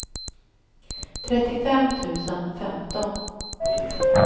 trettiofem tusen femton